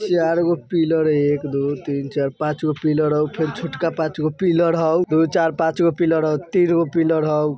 चारगो पिलर है एक दो तीन चार पाँचगो पिलर हउ फेर छोटका पाँचगो पिलर हउ दो चार पाँचगो पिलर हउ तीनगो पिलर हउ।